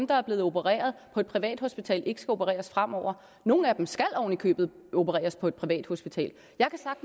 der er blevet opereret på et privathospital ikke skal opereres fremover nogle af dem skal oven i købet opereres på et privathospital